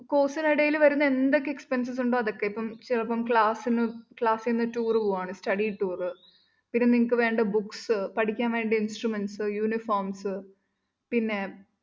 course നിടേല്‍ വരുന്ന എന്തൊക്കെ expenses ഉണ്ടോ അതൊക്കെ ഇപ്പം ചിലപ്പം class ന്ന് class ന്ന് tour പോവാണ് study tour പിന്നെ നിങ്ങള്‍ക്ക് വേണ്ട books പഠിക്കാന്‍വേണ്ട instuments uniforms പിന്നെ